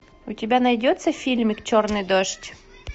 у тебя найдется фильмик черный дождь